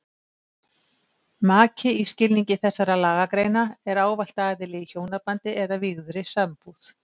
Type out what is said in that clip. Maki í skilningi þessara lagagreina er ávallt aðili í hjónabandi eða vígðri sambúð.